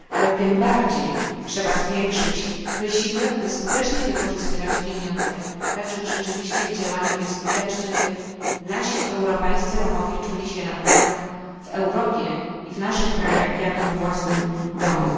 Ale tym bardziej trzeba zwiększyć wysiłek, by skutecznie wykorzystywać pieniądze tak, żeby rzeczywiście być skutecznym w działaniu, by nasi europejscy Romowie czuli się naprawdę w Europie, w naszych krajach jak we własnym domu.